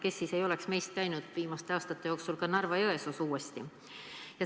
Kes siis meist ei oleks viimastel aastatel uuesti ka Narva-Jõesuus käinud!